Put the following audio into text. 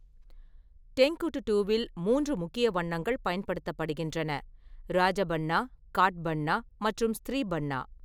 டெங்குட்டுவில், மூன்று முக்கிய வண்ணங்கள் பயன்படுத்தப்படுகின்றனஃ ராஜபன்னா, காட்பன்னா மற்றும் ஸ்த்ரிபன்னா.